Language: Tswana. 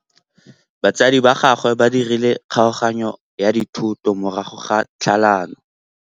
Batsadi ba gagwe ba dirile kgaoganyô ya dithoto morago ga tlhalanô.